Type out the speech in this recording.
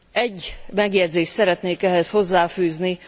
Egy megjegyzést szeretnék ehhez hozzáfűzni.